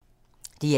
DR2